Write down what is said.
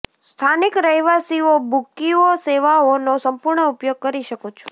સ્થાનિક રહેવાસીઓ બુકીઓ સેવાઓનો સંપૂર્ણ ઉપયોગ કરી શકો છો